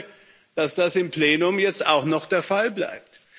Ich hoffe, dass das im Plenum jetzt auch noch der Fall bleibt.